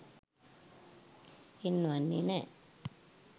පෙන්වන්නෙ නෑ.